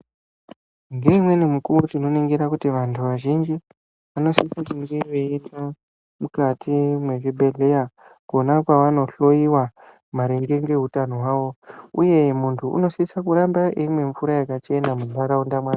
Ngeimweni mukuwo tinoningira kuti vantu vazhinji vanositsa kuti vange vainoenda mukati mezvibhedhleya Kona kwavanohloiwa maringe nezveutano hwavo uye muntu unosisa kuramba eimwa mvura yakachena mundaraunda make.